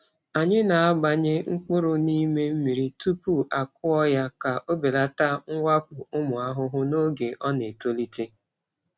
Anyị na-agbanye mkpụrụ n’ime mmiri tupu akụọ ya ka ọ belata mwakpo ụmụ ahụhụ n’oge ọ na-etolite.